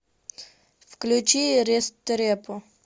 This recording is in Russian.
включи рестрепо